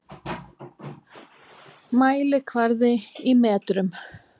Mælikvarði í metrum.